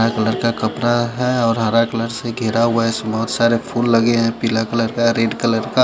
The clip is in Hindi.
हरा कलर का कपड़ा है और हरा कलर से घिरा हुआ है बहुत सारे फूल लगे हुए है पीला कलर का रेड कलर का --